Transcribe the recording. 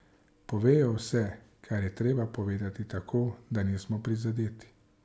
Povejo vse, kar je treba povedati tako, da nismo prizadeti.